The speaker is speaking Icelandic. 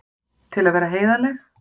Til að vera heiðarleg.